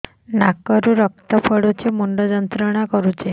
ନାକ ରୁ ରକ୍ତ ପଡ଼ୁଛି ମୁଣ୍ଡ ଯନ୍ତ୍ରଣା କରୁଛି